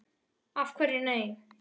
Af hverju nei?